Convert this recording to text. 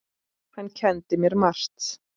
Hann kenndi mér margt.